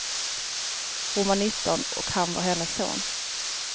Hon var nitton och han var hennes son.